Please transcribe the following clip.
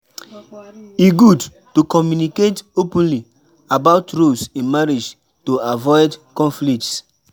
E good to communicate openly about roles in marriage to avoid conflicts.